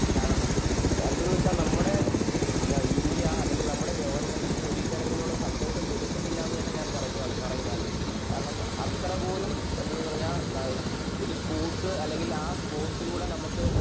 കാരണം എന്തെന്നുവെച്ചാൽ നമ്മുടെ ഇന്ത്യ അല്ലെങ്കിൽ നമ്മുടെ ഗവൺമെൻറ് ഇതിനൊരുതരത്തിലുള്ള സപ്പോർട്ടും കൊടുക്കുന്നില്ലാന്നു തന്നെ ഞാൻ പറയും ആൽവിൻ കാരണം അത്രപോലും എന്നുപറഞ്ഞാൽ ഒരു സ്പോർട്സ് അല്ലെങ്കിൽ ആ സ്പോർട്സിലൂടെ നമുക്ക്